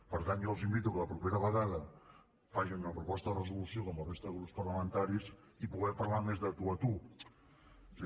per tant jo els invito que la propera vegada facin una proposta de resolució com la resta de grups parlamentaris i podrem parlar més de tu a tu és a dir